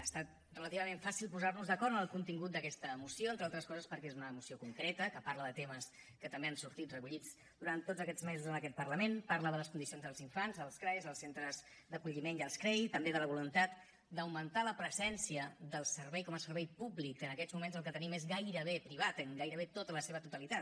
ha estat relativament fàcil posar nos d’acord en el contingut d’aquesta moció entre altres coses perquè és una moció concreta que parla de temes que també han sortit recollits durant tots aquests mesos en aquest parlament parla de les condicions dels infants dels crae els centres d’acolliment i dels crei i també de la voluntat d’augmentar la presència del servei com a servei públic que en aquests moments el que tenim és gairebé privat en gairebé tota la seva totalitat